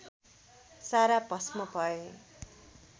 सारा भष्म भए